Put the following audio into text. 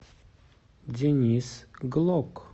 денис глок